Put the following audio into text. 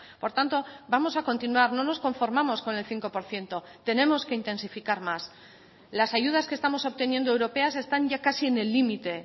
por tanto vamos a continuar no nos conformamos con el cinco por ciento tenemos que intensificar más las ayudas que estamos obteniendo europeas están ya casi en el límite